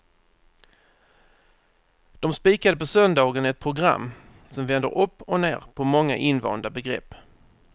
De spikade på söndagen ett program som vänder upp och ner på många invanda begrepp.